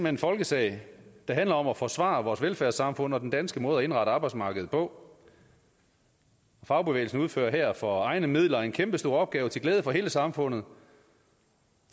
en folkesag der handler om at forsvare vores velfærdssamfund og den danske måde at indrette arbejdsmarkedet på fagbevægelsen udfører her for egne midler en kæmpestor opgave til glæde for hele samfundet